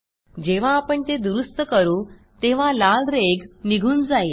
जेव्हा आपण ते दुरूस्त करू तेव्हा लाल रेघ निघून जाईल